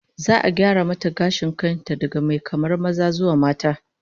Za'a gyara mata gashin kan ta daga mai kamar maza zuwa na mata